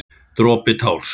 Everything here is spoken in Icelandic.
Dropi társ.